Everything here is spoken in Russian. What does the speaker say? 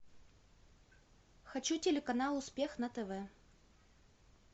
хочу телеканал успех на тв